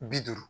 Bi duuru